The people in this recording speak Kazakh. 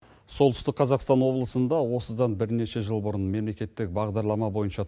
солтүстік қазақстан облысында осыдан бірнеше жыл бұрын мемлекеттік бағдарлама бойынша